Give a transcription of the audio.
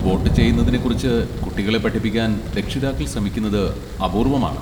Vote ചെയ്യുന്നതിനെ കുറിച്ച് കുട്ടികളെ പഠിപ്പിക്കാൻ രക്ഷിതാക്കൾ ശ്രമിക്കുന്നത് അപൂർവ്വമാണ്.